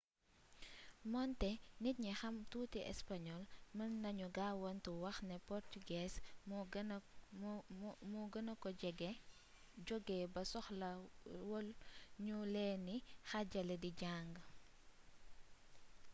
moonte nit ñi xam tuuti español mën nañu gaawaantu wax ne portugees moo gëna ko joge ba soxlawul nu leeni xaajale di jàng